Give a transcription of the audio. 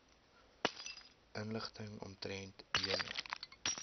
inligting omtrent julle